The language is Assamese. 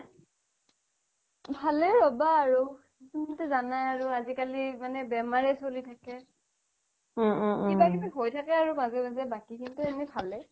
ভালেই ৰবা আৰু তুমিটো জানাই আজি কালি বেমাৰেই চলি থাকে কিবা কিবি হৈ থাকে আৰু মাজে মাজে বাকী খিনিটো এনেই ভালেই